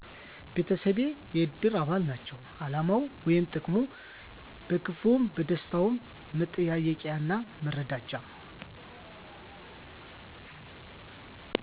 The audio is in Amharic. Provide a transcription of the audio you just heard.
ቤተሰቤ የእድር አባል ናቸዉ አላማዉ ወይም ጥቅሙ በክፍዉም በደስታዉም መጠያየቂያና መረዳጃ